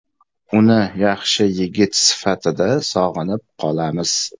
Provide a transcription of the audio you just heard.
Uni yaxshi yigit sifatida sog‘inib qolamiz.